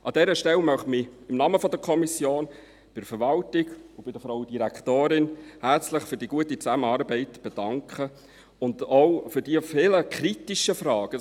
An dieser Stelle möchte ich im Namen der Kommission der Verwaltung und Frau Direktorin Allemann herzlich für die gute Zusammenarbeit und auch für die Antworten auf die vielen kritischen Fragen danken.